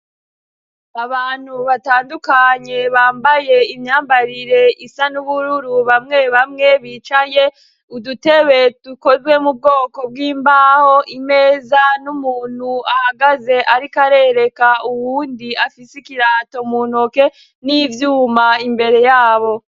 Abantu batandukanye bambaye imyambarire isa n'ubururu bamwe bamwe bicaye, udutebe dukozwe mu bwoko bw'imbaho, imeza n'umuntu ahagaze ariko arereka uwundi afise ikirato mu ntoke, n'ivyuma imbere ya bo.